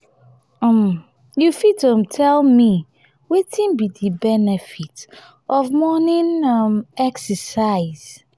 um you fit um tell me wetin be di benefit of morning um exercise?